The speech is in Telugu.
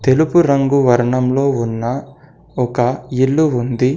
తెలుగు రంగు వర్ణంలో ఉన్న ఒక ఇల్లు ఉంది.